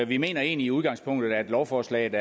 vi mener egentlig i udgangspunktet at lovforslaget